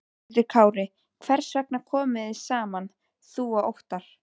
Höskuldur Kári: Hvers vegna komuð þið saman þú og Óttarr?